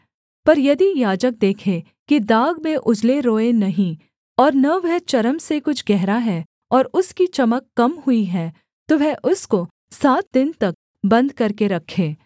पर यदि याजक देखे कि दाग में उजले रोएँ नहीं और न वह चर्म से कुछ गहरा है और उसकी चमक कम हुई है तो वह उसको सात दिन तक बन्द करके रखे